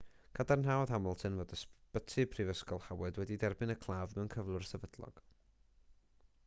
cadarnhaodd hamilton fod ysbyty prifysgol howard wedi derbyn y claf mewn cyflwr sefydlog